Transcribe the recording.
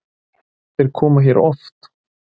Þeir koma hér oft.